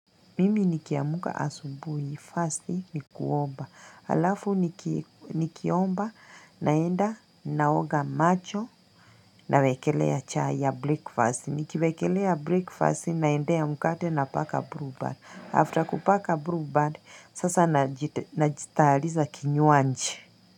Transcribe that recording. Mimi nikiamka asubuhi, first ni kuomba, alafu nikiomba naenda naoga macho na wekelea chai ya breakfast, nikiwekelea breakfast naendea mkate na paka bluebird. After kupaka bluebird, sasa najitayariza kinywaji.